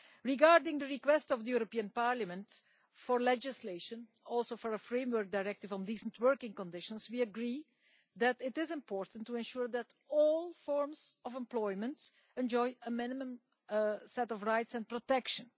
Regarding the request of the European Parliament for legislation, and also for a framework directive on decent working conditions, we agree that it is important to ensure that all forms of employment enjoy a minimum set of rights and protection.